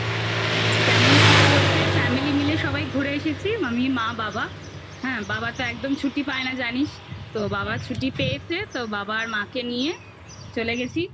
কেমন ছিল বলতে family মিলে সবাই ঘুরে এসেছি আমি মা বাবা হ্যাঁ বাবা তো একদম ছুটি পায় না জানিস তো বাবা ছুটি পেয়েছে তো বাবা আর মাকে নিয়ে চলে গেছি